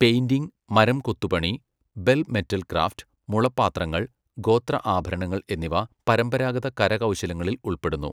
Painting, മരം കൊത്തുപണി, bell metal craft, മുള പാത്രങ്ങൾ, ഗോത്ര ആഭരണങ്ങൾ എന്നിവ പരമ്പരാഗത കരകൗശലങ്ങളിൽ ഉൾപ്പെടുന്നു.